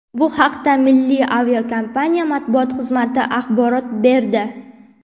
Bu haqda milliy aviakompaniya matbuot xizmati axborot berdi .